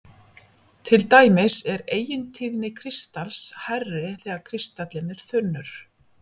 Til dæmis er eigintíðni kristals hærri þegar kristallinn er þunnur.